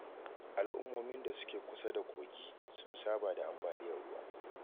Al'ummomin da suke kusa da kogi, sun saba da ambaliyar ruwa.